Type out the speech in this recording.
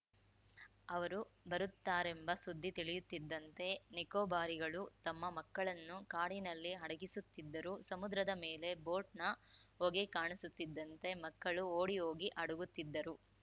ಅವರು ಬರುತ್ತಾರೆಂಬ ಸುದ್ದಿ ತಿಳಿಯುತ್ತಿದ್ದಂತೆ ನಿಕೋಬಾರಿಗಳು ತಮ್ಮ ಮಕ್ಕಳನ್ನು ಕಾಡಿನಲ್ಲಿ ಅಡಗಿಸುತ್ತಿದ್ದರು ಸಮುದ್ರದ ಮೇಲೆ ಬೋಟ್‌ನ ಹೊಗೆ ಕಾಣಿಸುತ್ತಿದ್ದಂತೆ ಮಕ್ಕಳು ಓಡಿಹೋಗಿ ಅಡಗುತ್ತಿದ್ದರು